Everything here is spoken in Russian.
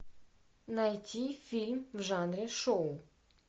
найти фильм в жанре шоу